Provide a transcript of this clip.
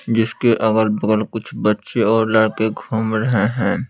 जिसके अगल-बगल कुछ बच्चे और लड़के घूम रहे हैं।